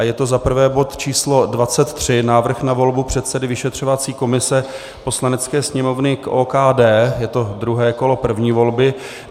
A je to za prvé bod číslo 23, Návrh na volbu předsedy vyšetřovací komise Poslanecké sněmovny k OKD, je to druhé kolo první volby.